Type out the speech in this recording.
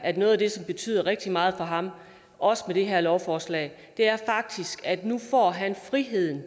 at noget af det som betyder rigtig meget for ham også med det her lovforslag faktisk er at han nu får friheden